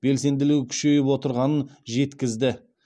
белсенділігі күшейіп отырғанын жеткізді